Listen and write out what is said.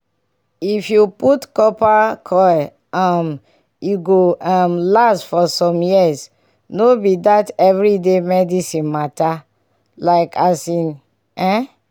if u put coil um e go um last for som years no be that everi day medicine mata. like asin eeh!